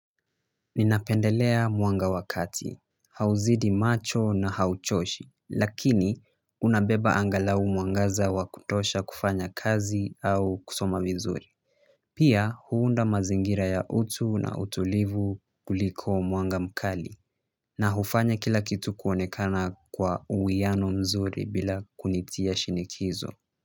Ninapendelea mwanga wa kati, hauzidi macho na hauchoshi, lakini unabeba angalau mwangaza wa kutosha kufanya kazi au kusoma vizuri. Pia huunda mazingira ya utu na utulivu kuliko mwanga mkali, na hufanya kila kitu kuonekana kwa uwiano mzuri bila kunitia shinikizo.